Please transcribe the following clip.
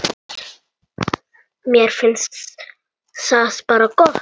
Mér finnst það bara gott.